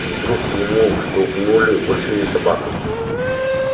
и вдруг к нему втолкнули большие собаку